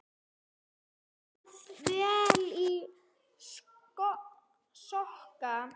Bandið vel í sokka.